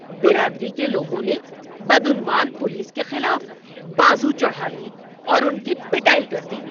برادری کے لوگوں نے بدعنوان پولیس کے خلاف بازو چڑھا لیے اور ان کی پٹائی کر دی۔